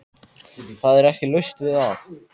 Það er ekki laust við að